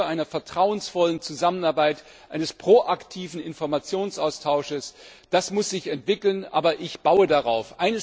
Die Kultur einer vertrauensvollen Zusammenarbeit, eines proaktiven Informationsaustauschs das muss sich entwickeln, aber ich baue darauf.